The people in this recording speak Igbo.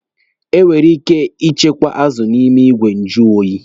E nwekwere ike ichekwa azụ n'ime igwe njụ oyi.